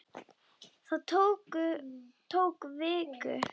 Það tók viku.